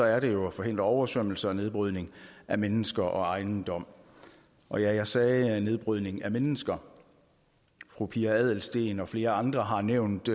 er det jo at forhindre oversvømmelse og nedbrydning af mennesker og ejendom og ja jeg sagde nedbrydning af mennesker fru pia adelsteen og flere andre har nævnt